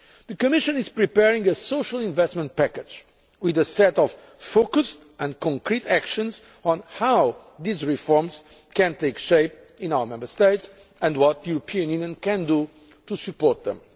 The Commission is preparing a social investment package with a set of focused and concrete actions on how these reforms can take shape in our Member States and what the European Union can do to support